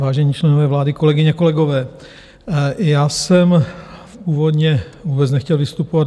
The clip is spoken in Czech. Vážení členové vlády, kolegyně, kolegové, já jsem původně vůbec nechtěl vystupovat.